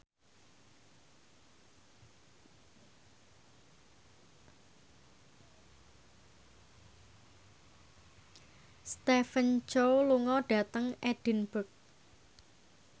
Stephen Chow lunga dhateng Edinburgh